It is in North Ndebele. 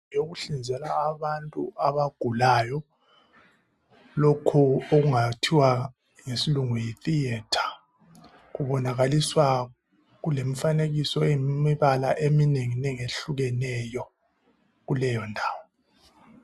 Yokuhlinzela abantu abagulayo lokho okungathwa ngesilungu yi"theatre".Kubonakaliswa kulemifanekiso yemibala eminengi nengi ehlukeneyo kuleyondawo.